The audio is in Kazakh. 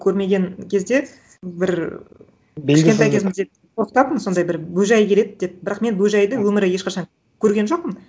көрмеген кезде бір кішкентай кезімізде қорқытатын сондай бір бөжай келеді деп бірақ мен бөжайды өмірі ешқашан көрген жоқпын